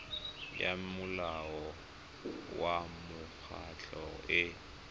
ya molao wa mekgatlho e